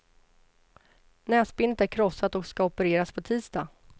Näsbenet är krossat och ska opereras på tisdag.